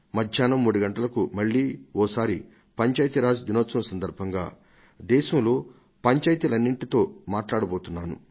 మధ్యాహ్నం 3 గంటలకు మళ్లీ ఓసారి పంచాయతీరాజ్ దినోత్సవం సందర్భంగా దేశంలో పంచాయతీలన్నింటితో మాట్లాడబోతున్నాను